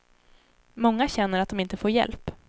Många känner att de inte får hjälp.